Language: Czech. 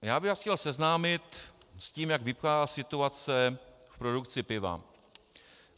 Já bych vás chtěl seznámit s tím, jak vypadá situace v produkci piva.